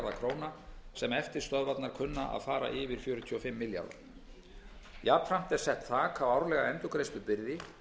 króna sem eftirstöðvarnar kunna að fara yfir fjörutíu og fimm milljarða króna jafnframt er sett þak á árlega endurgreiðslubyrði